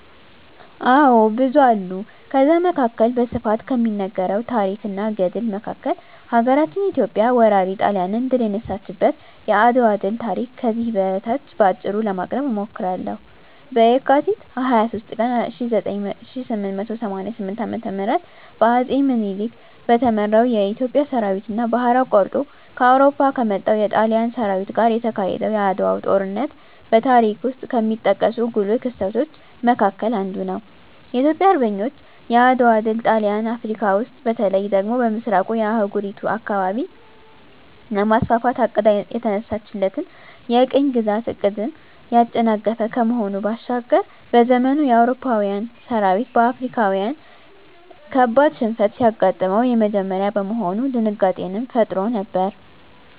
አዎ ብዙ አሉ ከዛ መካከል በስፋት ከሚነገረው ታረክ እና ገድል መካከል ሀገራችን ኢትዮጵያ ወራሪ ጣሊያንን ድል የነሳችበት የአድዋ ድል ታሪክ ከዚህ በታች በአጭሩ ለማቅረብ እሞክራለሁ፦ በካቲት 23 ቀን 1888 ዓ.ም በአጼ ምኒልክ በተመራው የኢትዮጵያ ሠራዊትና ባህር አቋርጦ ከአውሮፓ ከመጣው የጣሊያን ሠራዊት ጋር የተካሄደው የዓድዋው ጦርነት በታሪክ ውስጥ ከሚጠቀሱ ጉልህ ክስተቶች መካከል አንዱ ነው። የኢትዮጵያ አርበኞች የዓድዋ ድል ጣሊያን አፍረካ ውስጥ በተለይ ደግሞ በምሥራቁ የአህጉሪቱ አካባቢ ለማስፋፋት አቅዳ የተነሳችለትን የቅኝ ግዛት ዕቅድን ያጨናገፈ ከመሆኑ ባሻገር፤ በዘመኑ የአውሮፓዊያን ሠራዊት በአፍሪካዊያን ካበድ ሽንፈት ሲገጥመው የመጀመሪያ በመሆኑ ድንጋጤንም ፈጥሮ ነበር።